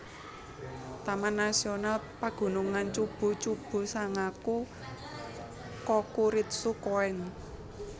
Taman Nasional Pagunungan Chubu Chubu Sangaku Kokuritsu Koen